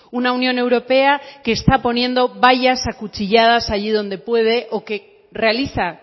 una unión europea que está poniendo vallas acuchilladas allí donde puede o que realiza